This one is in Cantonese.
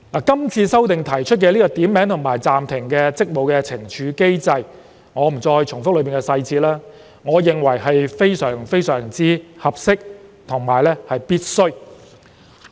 是次修訂就"點名及暫停職務"建議懲處機制，我在此不重複有關細節，但我認為這是非常合適及必須的。